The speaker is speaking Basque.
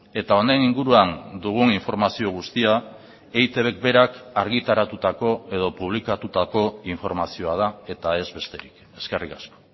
eta honen inguruan dugun informazio guztia eitbk berak argitaratutako edo publikatutako informazioa da eta ez besterik eskerrik asko